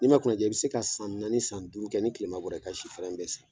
Ni ma kunnaja i bi se ka san naani, san duuru kɛ, ni kilema bɔra, i ka si fɛrɛn bɛ san.